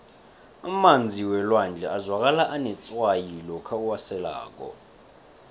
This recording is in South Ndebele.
emanzi welwandle azwakala anetswayi lokha uwaselako